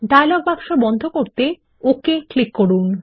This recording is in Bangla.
ডায়লগ বাক্স বন্ধ করতে ওকে ক্লিক করুন